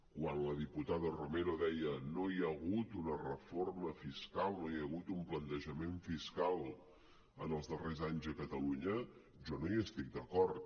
quan la diputada romero deia no hi ha hagut una reforma fiscal no hi ha hagut un plantejament fiscal en els darrers anys a catalunya jo no hi estic d’acord